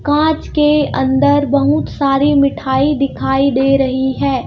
कांच के अंदर बहुत सारी मिठाई दिखाई दे रही है.